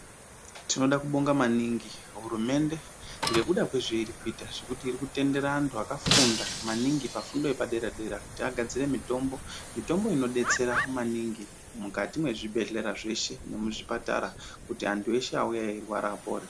Tinoda kubonga maningi hurumende ngekuda kwe zvairi kuita zvekuti iri kutendera antu aka funda maningi pafundo yepa dera dera kuti agadzire mitombo mitombo ino detsera maningi mukati me zvibhedhlera zveshe ne kuzvipatara kuti antu eshe auya eirwara apore.